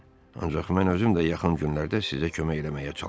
Ancaq mən özüm də yaxın günlərdə sizə kömək eləməyə çalışacağam.